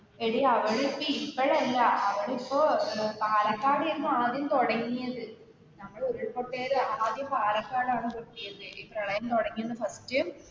എടി അവിടെയൊക്കെ ഇപ്പോഴല്ല അവിടിപ്പോ പാലക്കാടാണ് ആയിരുന്നു ആദ്യം തുടങ്ങിയത്. അവിടെ ഉരുൾ പൊട്ടല് ആദ്യം പാലക്കാടാണ് പൊട്ടിയത് ഈ പ്രളയം തുടങ്ങിയത്.